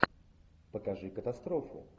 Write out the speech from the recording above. покажи катастрофу